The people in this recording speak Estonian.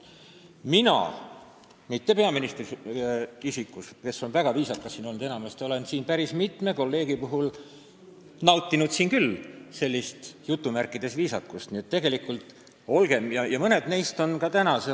Mina – mitte peaministri isikus, kes on siin enamasti väga viisakas olnud – olen siin küll päris mitme kolleegi puhul seda "viisakust" nautinud ja mõned neist on tegelikult ka täna samal teemal sõna võtnud.